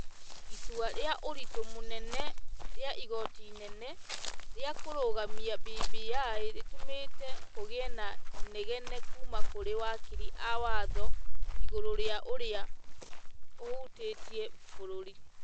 Itua rĩa ũritũ mũnene rĩa igoti inene, rĩa kũrũgamia BBI rĩtũmĩtĩ kũgiĩ na inegene kuuma kũrĩ wakiri a watho igũrũ rĩa ũrĩa ũhũtĩtie bũrũri